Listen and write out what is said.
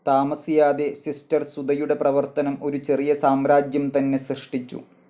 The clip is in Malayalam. താമസിയാതെ സിസ്റ്റർ സുധയുടെപ്രവർത്തനം ഒരു ചെറിയ സാമ്രാജ്യം തന്നെ സൃഷ്ട്ടിച്ചു.